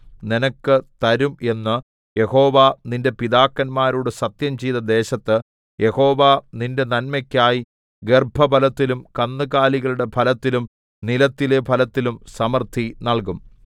നിനക്ക് തരും എന്ന് യഹോവ നിന്റെ പിതാക്കന്മാരോട് സത്യംചെയ്ത ദേശത്ത് യഹോവ നിന്റെ നന്മയ്ക്കായി ഗർഭഫലത്തിലും കന്നുകാലികളുടെ ഫലത്തിലും നിലത്തിലെ ഫലത്തിലും സമൃദ്ധി നല്കും